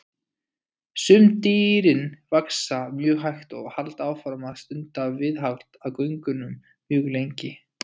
Sum dýrin vaxa mjög hægt og halda áfram að stunda viðhald á göngunum mjög lengi.